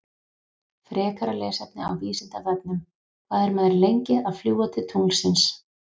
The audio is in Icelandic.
Frekara lesefni á Vísindavefnum: Hvað er maður lengi að fljúga til tunglsins?